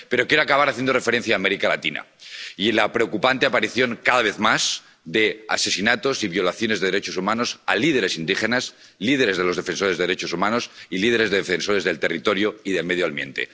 Pero quiero acabar haciendo referencia a América Latina y la preocupante aparición, cada vez más, de asesinatos y violaciones de los derechos humanos de líderes indígenas, líderes de los defensores de derechos humanos y líderes de los defensores del territorio y el medio ambiente.